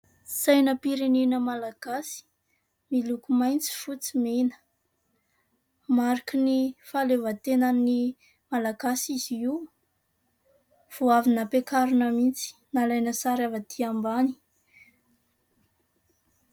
Sainam-pirenena Malagasy miloko maitso, fotsy, mena. Mariky ny fahalehovantenan'ny Malagasy izy io. vao avy nampiakarina mihitsy, nalaina sary avy aty ambany.